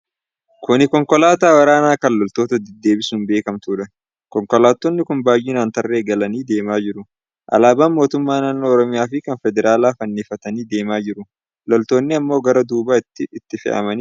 Kuni konkolaataa waraanaa kan loltoota deddeebisuun beekamtuudha. Konkolaattoni kun baay'inaan tarree galanii deemaa jiru. Alaabaan mootummaa naannoo Oromiyaa fi kan federaalaa fannifatanii deemaa jiru. Loltoonni ammoo garaa duubaa itti fe'amanii jiru.